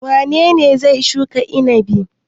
Wane ne zai shuka inabi?